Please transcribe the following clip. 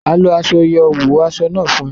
A lọ aṣọ yóò wo aṣọ náà fún ẹ